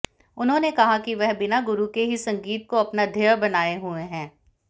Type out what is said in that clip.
उन्हांेने कहा कि वह बिना गुरु के ही संगीत को अपना ध्येय बनाए हुए हैं